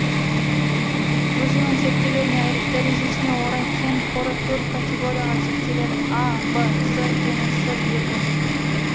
өзінің зерттелу дәрежесіне орай кен қоры төрт категорияға жіктеледі а в с және с екі